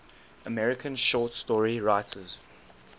american short story writers